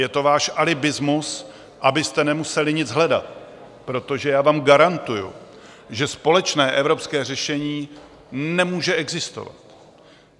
Je to váš alibismus, abyste nemuseli nic hledat, protože já vám garantuji, že společné evropské řešení nemůže existovat.